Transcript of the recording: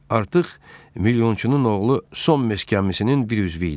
Artıq milyonçunun oğlu Som Mescəmisinin bir üzvü idi.